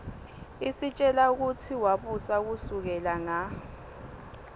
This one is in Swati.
isitjela kutsi wabusa kusukela nga